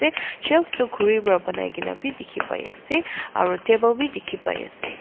te shelves tu khuri para banai kena bi dikhi pai ase aro table bi dikhi pai ase.